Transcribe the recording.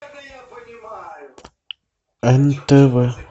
нтв